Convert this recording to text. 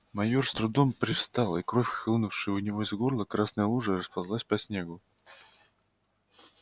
майор с трудом привстал и кровь хлынувшая у него из горла красной лужей расползлась по снегу